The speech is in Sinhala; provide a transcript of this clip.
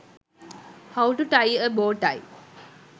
how to tie a bow tie